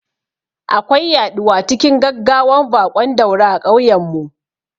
Akwai yaɗuwa cikin gaggawan baƙon dauro a kauyen mu